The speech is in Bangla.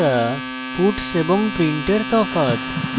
puts এবং print এর তফাৎ